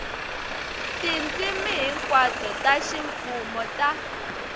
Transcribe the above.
tindzimi hinkwato ta ximfumo ta